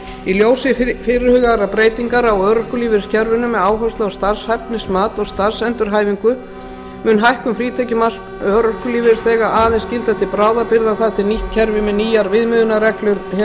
í ljósi fyrirhugaðra breytinga á örorkulífeyriskerfinu með áherslu á starfshæfnismat og starfsendurhæfingu mun hækkun frítekjumarks örorkulífeyrisþega aðeins gilda til bráðabirgða þar til nýtt kerfi með nýjar viðmiðunarreglur hefur verið tekið upp